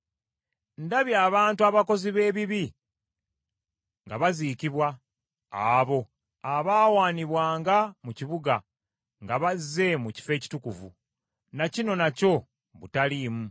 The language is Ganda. Ndabye abantu abakozi b’ebibi nga baziikibwa, abo abaawaanibwanga mu kibuga nga bazze mu kifo ekitukuvu. Na kino nakyo butaliimu.